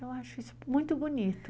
Eu acho isso muito bonito.